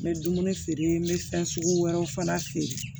N bɛ dumuni feere n bɛ fɛn sugu wɛrɛw fana feere